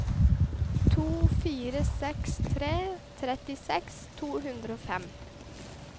to fire seks tre trettiseks to hundre og fem